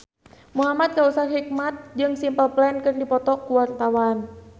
Muhamad Kautsar Hikmat jeung Simple Plan keur dipoto ku wartawan